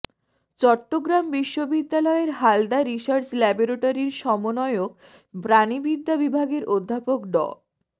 চট্টগ্রাম বিশ্ববিদ্যালয়ের হালদা রিসার্চ ল্যাবরেটরির সমন্বয়ক প্রাণিবিদ্যা বিভাগের অধ্যাপক ড